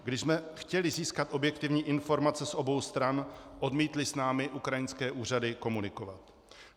Když jsme chtěli získat objektivní informace z obou stran, odmítly s námi ukrajinské úřady komunikovat.